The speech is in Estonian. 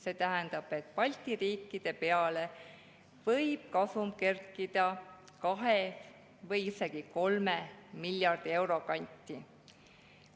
See tähendab, et Balti riikide peale võib kasum kerkida kahe või isegi kolme miljardi euro kanti.